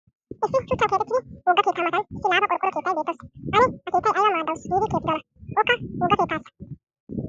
Issi shuchchan keexettiiddi wogga keettaa Matan issi laafa qorqqoro keettiya beettawusu. Ane ha keettiya aybaa maaddawusu giidi kexxidonaa okka wogga keettaa achchan.